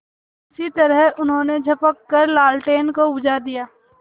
उसी तरह उन्होंने झपट कर लालटेन को बुझा दिया